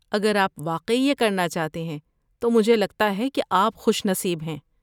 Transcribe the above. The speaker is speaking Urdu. اگر آپ واقعی یہ کرنا چاہتے ہیں تو مجھے لگتا ہے کہ آپ خوش نصیب ہیں۔